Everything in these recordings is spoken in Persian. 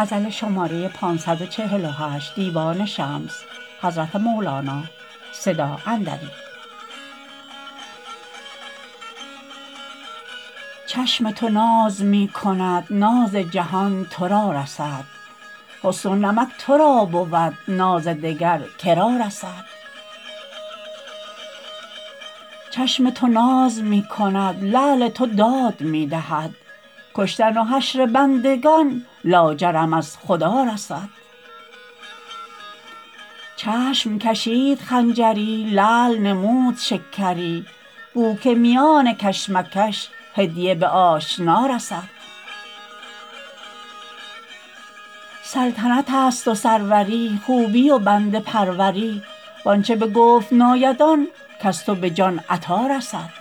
چشم تو ناز می کند ناز جهان تو را رسد حسن و نمک تو را بود ناز دگر که را رسد چشم تو ناز می کند لعل تو داد می دهد کشتن و حشر بندگان لاجرم از خدا رسد چشم کشید خنجری لعل نمود شکری بو که میان کش مکش هدیه به آشنا رسد سلطنتست و سروری خوبی و بنده پروری و آنچ بگفت ناید آن کز تو به جان عطا رسد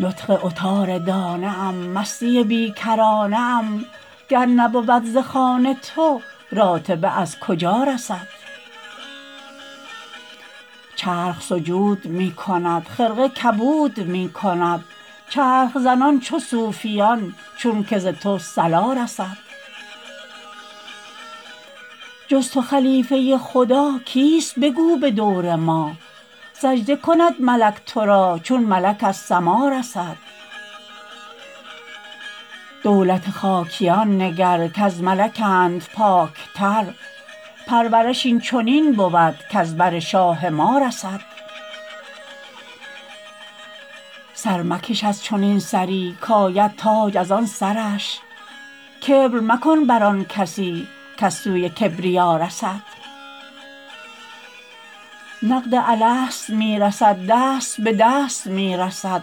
نطق عطاردانه ام مستی بی کرانه ام گر نبود ز خوان تو راتبه از کجا رسد چرخ سجود می کند خرقه کبود می کند چرخ زنان چو صوفیان چونک ز تو صلا رسد جز تو خلیفه خدا کیست بگو به دور ما سجده کند ملک تو را چون ملک از سما رسد دولت خاکیان نگر کز ملکند پاکتر پرورش این چنین بود کز بر شاه ما رسد سر مکش از چنین سری کاید تاج از آن سرش کبر مکن بر آن کسی کز سوی کبریا رسد نقد الست می رسد دست به دست می رسد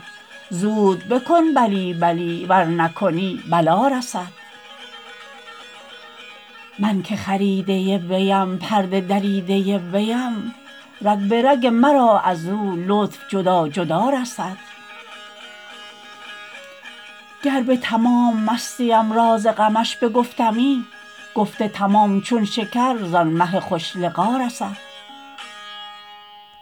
زود بکن بلی بلی ور نکنی بلا رسد من که خریده ویم پرده دریده ویم رگ به رگ مرا از او لطف جدا جدا رسد گر به تمام مستمی راز غمش بگفتمی گفت تمام چون شکر زان مه خوش لقا رسد